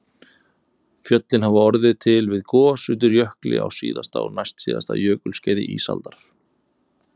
Fjöllin hafa orðið til við gos undir jökli á síðasta og næstsíðasta jökulskeiði ísaldar